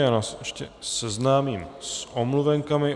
Já vás ještě seznámím s omluvenkami.